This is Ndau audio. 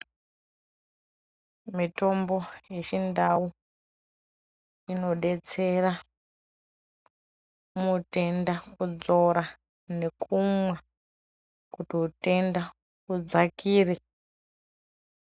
Mitombo yechindau inodetsera mutenda kudzora nekunwa kuti utenda udzakire.